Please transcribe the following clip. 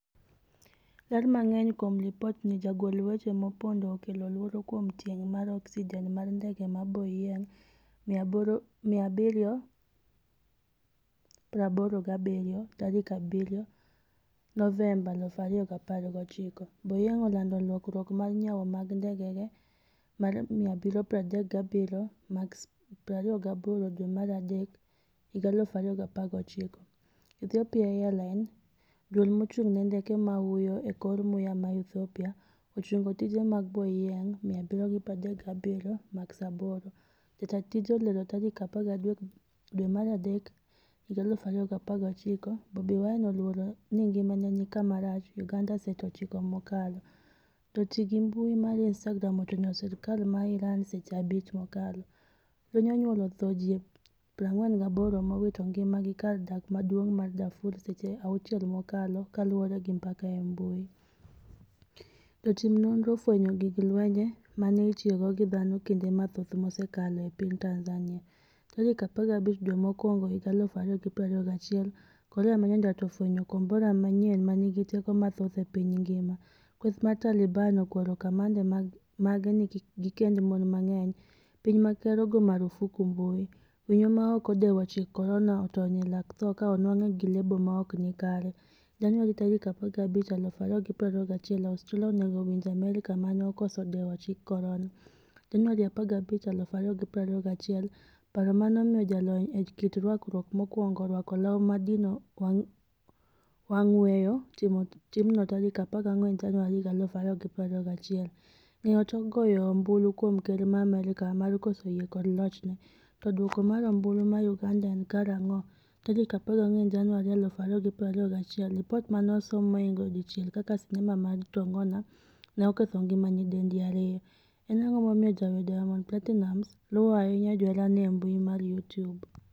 Ler mang'eny kuom lipot ni jagol weche mopondo okelo luoro kuom tieng' mar oksijen mar ndege maBoeing' 787 tarik 7 Noenmba 2019. Boeing' olando lokruok mar nyawo mag ndekege mag 737 Max 28 dwe mar adek 2019. Ethiopia Airline, Duol mochung'ne ndeke mahuyo e kor muya ma Ethiopia, ochungo tije mag Boeing' 737 Max 8, jataa tije olero tarik 13 dwe mar adek 2019. Bobi Wine oluoro ni ngimane ni kama rach' Uganda Seche 9 mokalo. Joti gi mbui mar Instagram ochwanyo sirkal ma Iran seche 5 mokalo. Lweny onyuolo thoe ji 48 mowito ngima gi kar dak maduong' ma Darfur Seche 6 mokalo kaluore gi mbaka e mbui. Jotim nonro ofwenyo gig lweny mane itiyogo gi dhano kinde mathoth mosekalo e piny Tanzania. Tarik 15 dwe mokwongo higa 2021 korea manyandwat ofwenyo kombora manyien manigi teko mathoth e piny ngima. Kweth mar Taliban okwero kamanda mage ni kik gikend mon mang'eny. Piny ma ker ogo marufuku mbui. Winyo mane ok odewo chik korona otony e lak tho ka onwang'e gi lebo maokni kare. Januari 15, 2021, Australia onego winj Amerka mane okoso dewo chik korona. Januari 15, 2021, Paro mane omiyo jalony e kit rwakruok mokwongo rwako law madino wang' weyo timno tarik 14 Januari 2021. Ng'eyo tok goyo ombulu kuom ker ma Amerka mar koso yie kod lochne? To duoko mar ombulu mar Uganda en karang'o? 14 Januari 2021, Lipot mane osom mohingo 1 kaka sinema mar tongona ne oketho ngima nyidendi 2. En ang'o momiyo jawer Diamond Platinumz luwo ahinya joherane embui mar Youtube?